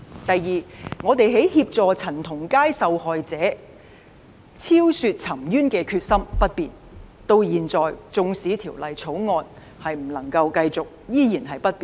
第二，我們協助陳同佳案受害者昭雪沉冤的決心不變，至今縱使《條例草案》的工作不能夠繼續，我們的決心依然不變。